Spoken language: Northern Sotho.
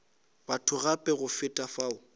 batho gape go feta fao